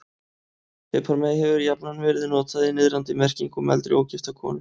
Piparmey hefur jafnan verið notað í niðrandi merkingu um eldri, ógifta konu.